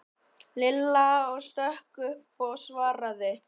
Lilla stökk upp og svaraði.